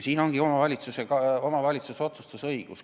Siin ongi see omavalitsuse otsustusõigus.